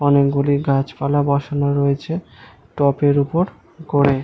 অনেক গুলি গাছপালা বসানো রয়েছে টব এর ওপর গোল করে ।